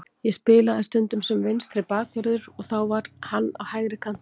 Ég spilaði stundum sem vinstri bakvörður þar og þá var hann á hægri kantinum.